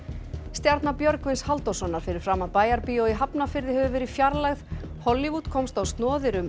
stjarna Björgvins Halldórssonar fyrir framan Bæjarbíó í Hafnarfirði hefur verið fjarlægð Hollywood komst á snoðir um